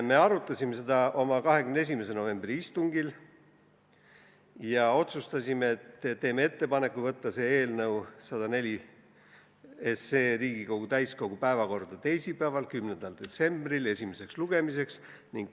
Me arutasime seda oma 21. novembri istungil ja otsustasime, et teeme ettepaneku saata eelnõu 104 Riigikogu täiskogu päevakorda teisipäevaks, 10. detsembriks esimesele lugemisele.